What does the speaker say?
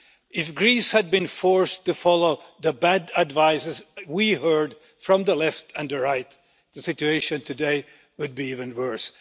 If Greece had been forced to follow the bad advice we heard from the left and the right, the situation today would be even worse.